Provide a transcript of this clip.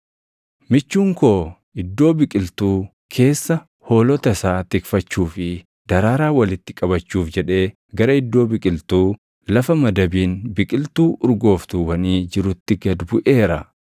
Michuun koo iddoo biqiltuu keessa hoolota isaa tikfachuu fi daraaraa walitti qabachuuf jedhee gara iddoo biqiltuu, lafa madabiin biqiltuu urgooftuuwwanii jirutti gad buʼeera.